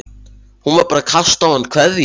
Hún var bara að kasta á hann kveðju.